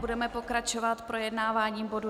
Budeme pokračovat projednáváním bodu